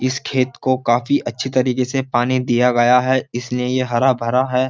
इस खेत को काफी अच्छी तरीके से पानी दिया गया है इसलिए ये हरा भरा है।